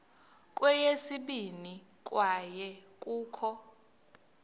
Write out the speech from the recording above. kweyesibini kwaye kukho